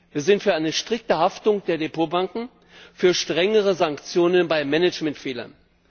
Wir sind für eine strikte Haftung der Depotbanken, für strengere Sanktionen bei Managementfehlern.